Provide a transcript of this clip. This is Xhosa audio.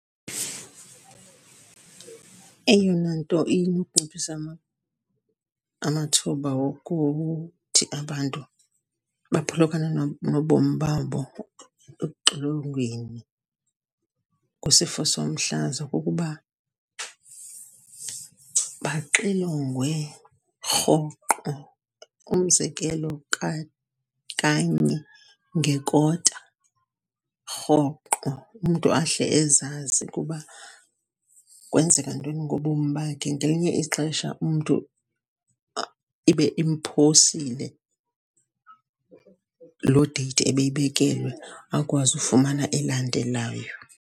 Eyona nto inokunciphisa amathuba wokuthi abantu baphulukane nobom babo ekuxilongweni kwisifo somhlaza kukuba baxilongwe rhoqo. Umzekelo, kanye ngekota, rhoqo. Umntu ahle ezazi ukuba kwenzeka ntoni ngobomi bakhe. Ngelinye ixesha umntu ibe imphosile loo date ebeyibekelwe akwazi ufumana elandelayo.